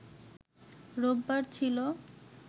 রোববার ছিল